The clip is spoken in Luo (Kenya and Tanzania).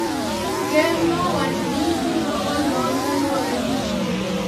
Ker nowacho ni siro olor kaluwore gi chilo